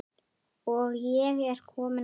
Og ég er kominn aftur!